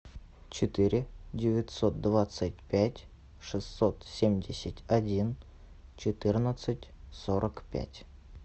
четыре девятьсот двадцать пять шестьсот семьдесят один четырнадцать сорок пять